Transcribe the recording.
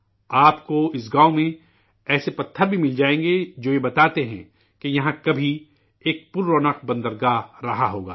آپ کو اس گاؤں میں ایسے پتھر بھی مل جائیں گے، جو یہ بتاتے ہیں کہ، یہاں، کبھی، ایک مصروف بندرگاہ رہا ہوگا